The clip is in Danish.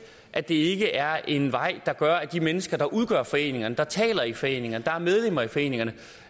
at det ikke er en vej der gør at de mennesker der udgør foreningerne der taler i foreningerne der er medlemmer af foreningerne